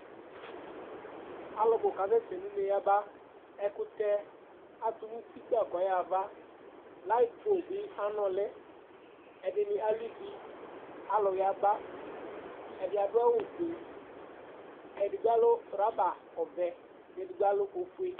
Alʋ bʋ kasɛsɛ nʋ une yaba Ɛkʋtɛ atʋ nʋ uti kpaa kʋ ɔyaɣa ava Layɩt po bɩ anʋlɩ Ɛdɩnɩ alʋ ivi Alʋ yaba Ɛdɩ adʋ awʋfue Edigbo alʋ rɔbavɛ kʋ edigbo alʋ ofue